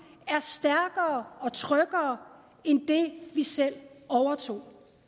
er stærkere og tryggere end det vi selv overtog